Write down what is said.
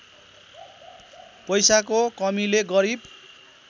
पैसाको कमीले गरिब